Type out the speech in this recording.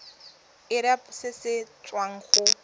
irp se se tswang go